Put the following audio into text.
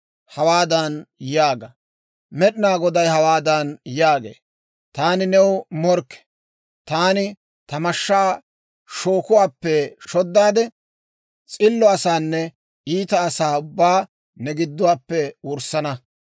Hawaadan yaaga; Med'inaa Goday hawaadan yaagee; ‹Taani new morkke. Taani ta mashshaa shookuwaappe shoddaade, s'illo asaanne iita asaa ubbaa ne giduwaappe wurssana.